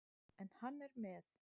En hann er með.